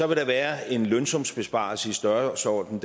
vil der være en lønsumsbesparelse i størrelsesordenen